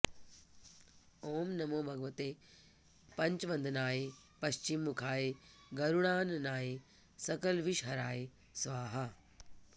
ओं नमो भगवते पञ्चवदनाय पश्चिम मुखाय गरुडाननाय सकलविषहराय स्वाहा